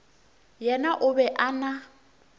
yena o be a na